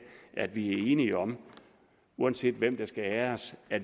at vi er enige om uanset hvem der skal æres at